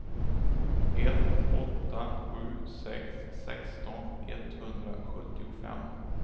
ett åtta sju sex sexton etthundrasjuttiofem